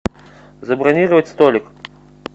забронировать столик